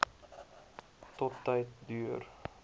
tot tyd deur